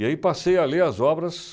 E aí passei a ler as obras...